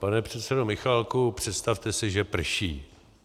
Pane předsedo Michálku, představte si, že prší.